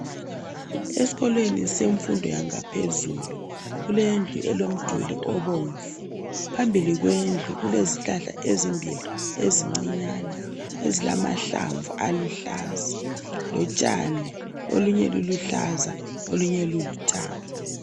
Esikolweni semfundo yangaphezulu kulendlu elomduli obomvu, phambili kwendlu kulezihlahla ezimbili ezincinyane ezilamahlamvu aluhlaza lotshani olunye luluhlaza olunye lulithanga.